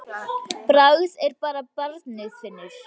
Bragð er að þá barnið finnur!